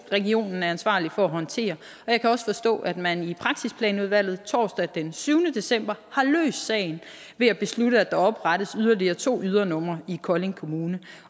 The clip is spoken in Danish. regionen er ansvarlig for at håndtere og jeg kan også forstå at man i praksisplanudvalget torsdag den syvende december har løst sagen ved at beslutte at der oprettes yderligere to ydernumre i kolding kommune